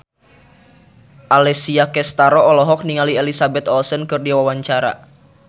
Alessia Cestaro olohok ningali Elizabeth Olsen keur diwawancara